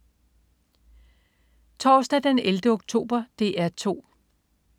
Torsdag den 11. oktober - DR 2: